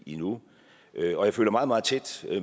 endnu og jeg følger meget meget tæt